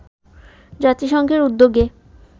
জাতিসংঘের উদ্যোগে